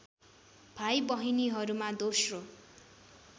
भाइ बहिनीहरूमा दोस्रो